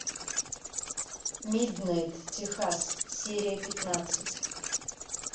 миднайт техас серия пятнадцать